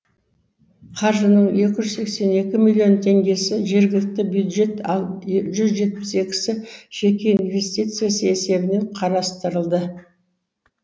қаржының екі жүз сексен екі миллион теңгесі жергілікті бюджет ал жүз жетпіс екісі жеке инвестиция есебінен қарастырылды